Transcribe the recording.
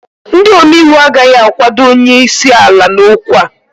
ndị omeiwu agaghị akwado onye isi ala n'okwu a